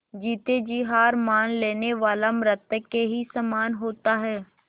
जीते जी हार मान लेने वाला मृत के ही समान होता है